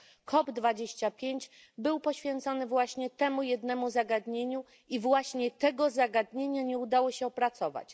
COP 25 był poświęcony właśnie temu jednemu zagadnieniu i właśnie tego zagadnienia nie udało się opracować.